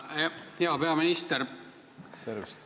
Hea peaminister!